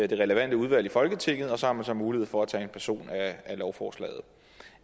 det relevante udvalg i folketinget og så har man mulighed for at tage en person af lovforslaget